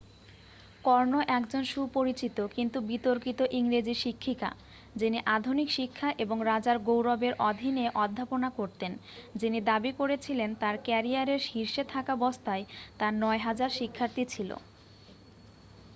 কর্নো একজন সুপরিচিত কিন্তু বিতর্কিত ইংরেজি শিক্ষিকা যিনি আধুনিক শিক্ষা এবং রাজার গৌরবের অধীনে অধ্যাপনা করতেন যিনি দাবি করেছিলেন তাঁর ক্যারিয়ারের শীর্ষে থাকাবস্থায় তাঁর 9000 শিক্ষার্থী ছিল